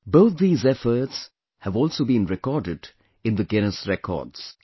Both these efforts have also been recorded in the Guinness Records